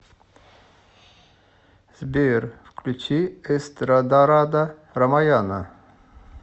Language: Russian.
сбер включи эстрадарада рамаяна